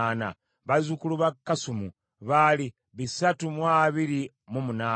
bazzukulu ba Kasumu baali bisatu mu abiri mu munaana (328),